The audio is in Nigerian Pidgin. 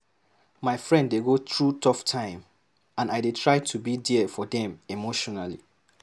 My friend dey go through tough time, and I dey try to be there for dem emotionally.